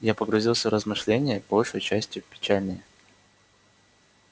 я погрузился в размышления большею частию печальные